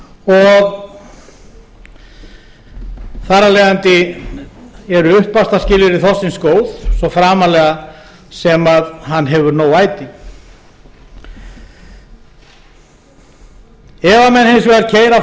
og þar af leiðandi eru uppvaxtarskilyrði þorski góð svo framarlega sem hann hefur nóg æti ef menn hins vegar keyra